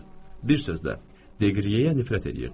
Bir sözlə, Deqriyeyə nifrət eləyirdim.